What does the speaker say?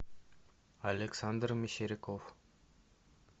александр мещеряков